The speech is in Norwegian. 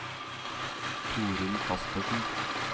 Torunn Kaspersen